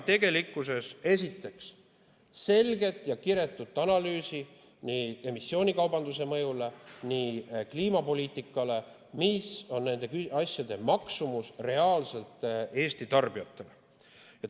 Me vajame esiteks selget ja kiretut analüüsi nii emissioonikaubanduse mõju kui ka kliimapoliitika koha pealt, selle kohta, mis on nende asjade maksumus reaalselt Eesti tarbijatele.